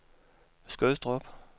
Skødstrup